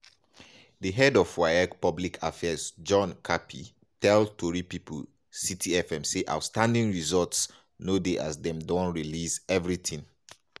di head of waec public affairs john kapi tell tori pipo citi fm say outstanding results no dey as dem don release evritin.